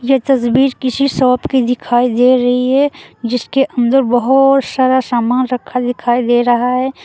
यह तस्वीर किसी शॉप की दिखाई दे रही है जिसके अंदर बोहोत सारा सामान रखा दिखाई दे रहा है।